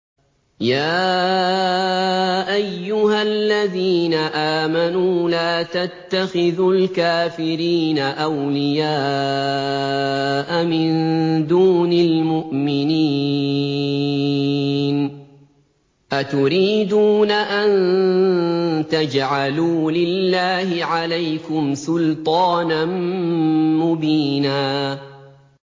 يَا أَيُّهَا الَّذِينَ آمَنُوا لَا تَتَّخِذُوا الْكَافِرِينَ أَوْلِيَاءَ مِن دُونِ الْمُؤْمِنِينَ ۚ أَتُرِيدُونَ أَن تَجْعَلُوا لِلَّهِ عَلَيْكُمْ سُلْطَانًا مُّبِينًا